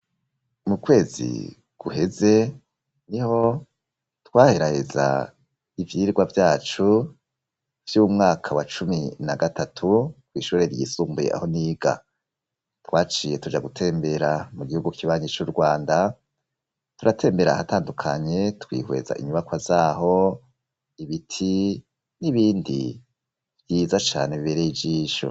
Mu kwezi guheze niho twaheraheza ivyirwa vyacu vy'umwaka wa cumi na gatatu kw'ishure ryisumbuye aho niga, twaciye tuja gutembera mu gihugu kibanyi c'Urwanda ,turatembera ahatandukanye twihweza inyubako zaho, ibiti n'ibindi vyiza cane biberey'ijisho.